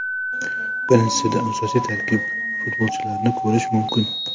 Birinchisida asosiy tarkib futbolchilarini ko‘rish mumkin.